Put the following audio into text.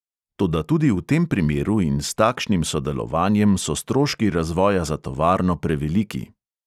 Toda tudi v tem primeru in s takšnim sodelovanjem so stroški razvoja za tovarno preveliki.